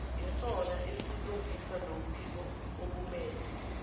isona esilungisa lombikookumele